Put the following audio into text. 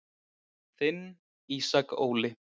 Þinn Ísak Óli.